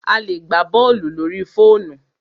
A lè gbá bọ́ọ̀lù lórí fóònù.